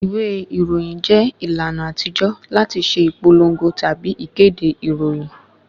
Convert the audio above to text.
Ìwé ìròyìn jẹ́ ìlànà àtijó láti ṣe ìpòlòngo tabi ìkéde ìròyìn